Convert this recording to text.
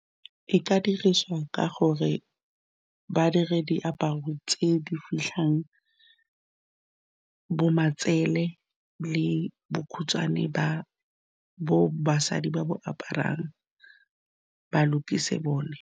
E ka diriswa ka gore ba dire diaparo tse di fitlhang bo matsele le bokhutshwane bo basadi ba bo aparang ba lokise bone.